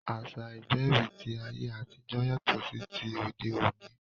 Àṣá ìgbẹ̀bí ti ayé àtijọ́ yàtọ̀ sí ti òde òní